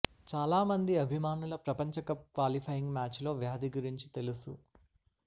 చాలా మంది అభిమానులు ప్రపంచ కప్ క్వాలిఫైయింగ్ మ్యాచ్ లో వ్యాధి గురించి తెలుసు